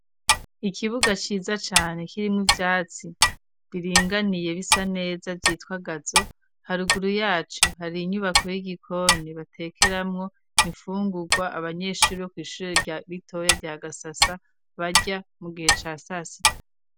ikibuga ciza cane kirimo ivyatsi biringaniye bisa neza vyitwa gazo haruguru yaco hari inyubako y'igikoni batekeramwo imfungugwa abanyeshure bo kw'ishure rya bitoya rya gasasa barya mu gihe ca sasita.